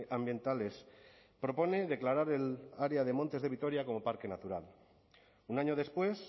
ambientales propone declarar el área de montes de vitoria como parque natural un año después